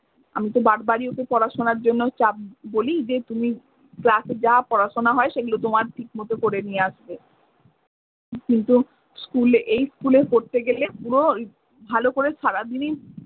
আমিতো বারবারি ওকে পড়াশুনার জন্য চাপ বলি যে তুমি class এ যা পড়াশুনা হয় সেগুলো তোমার ঠিক মতো করে নিয়ে আসবে। কিন্তু school এ এই school এ পড়তে গেলে পুরো ভালো করে সারাদিনই